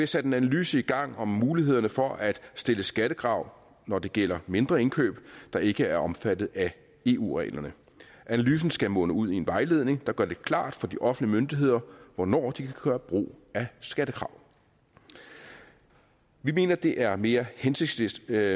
sat en analyse i gang om mulighederne for at stille skattekrav når det gælder mindre indkøb der ikke er omfattet af eu reglerne analysen skal munde ud i en vejledning der gør det klart for de offentlige myndigheder hvornår de kan gøre brug af skattekrav vi mener at det er mere hensigtsmæssigt